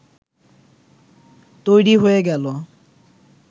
তৈরি হয়ে গেল